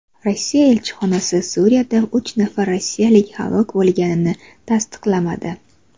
Rossiya elchixonasi Suriyada uch nafar rossiyalik halok bo‘lganligini tasdiqlamadi.